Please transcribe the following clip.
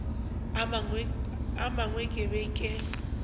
a mangwe ke be ke